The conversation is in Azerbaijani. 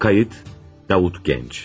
Qeyd, Davut Gənc.